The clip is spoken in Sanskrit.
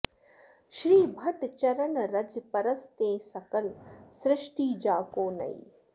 श्रीभट्ट चरन रज परस तें सकल सृष्टि जाको नई